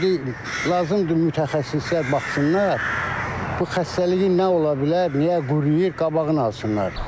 İndi lazımdır mütəxəssislər baxsınlar, bu xəstəliyi nə ola bilər, niyə quruyur, qabağını alsınlar.